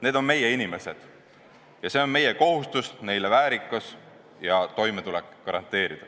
Need on meie inimesed ning meie kohus on garanteerida neile väärikus ja toimetulek.